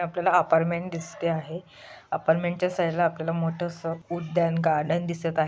आपल्याला हा अपार्टमेंट दिसते आहे. अपार्टमेंट च्या साइड ला आपल्याला मोठस उद्यान गार्डन दिसत आ--